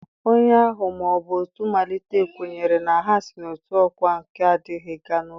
Onye ahụ ma ọ bụ otu malitere kwenyere na ha si n'otu ọkwa nke ndụ gaa na nke ọzọ.